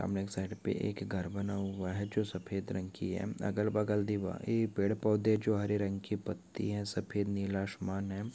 सामने एक साइड पे घर बना हुआ है जो सफ़ेद रंग की है अगल बगल दीवारे पेड़ पौधे जो हरे रंग की पतिया सफ़ेद नीला आसमान है।